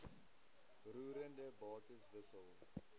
roerende bates wissel